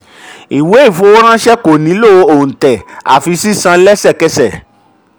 ìwé-ìfowóránṣẹ́ ko nílò òǹtẹ̀ àfi sísan sísan lẹsẹkẹsẹ.